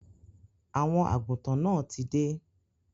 Àwọn àgùntàn náà tí dé.